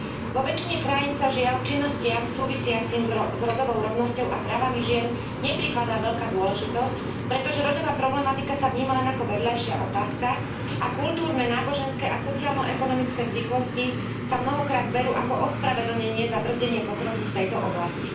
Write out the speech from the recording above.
Vo väčšine krajín sa, žiaľ, činnostiam súvisiacim s rodovou rovnosťou a právami žien neprikladá veľká dôležitosť, pretože rodová problematika sa vníma len ako vedľajšia otázka a kultúrne, náboženské a sociálno ekonomické zvyklosti sa mnohokrát berú ako ospravedlnenie za brzdenie pokroku v tejto oblasti.